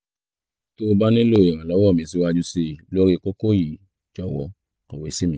tó o bá nílò ìrànlọ́wọ́ mi síwájú sí i lórí kókó yìí jọ̀wọ́ kọ̀wé sí mi